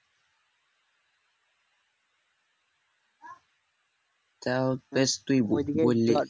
তাও বেশ তুই বললি